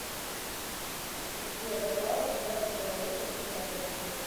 сбер какова государственная валюта в финляндии